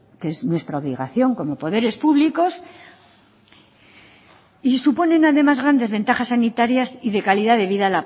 que es nuestra obligación como poderes públicos y suponen además grandes ventajas sanitarias y de calidad de vida